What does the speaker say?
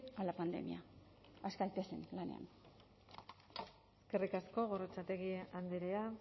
a la pandemia has gaitezen lanean eskerrik asko gorrotxategi andrea